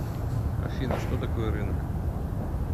афина что такое рынок